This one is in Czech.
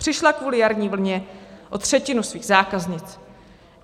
Přišla kvůli jarní vlně o třetinu svých zákaznic.